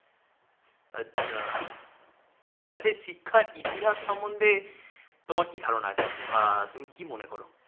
আচ্ছা। আচ্ছা। এই শিক্ষার ইতিহাস সম্বন্ধে তোমার কি ধারণা আছে? বা তুমি কি মনে কর?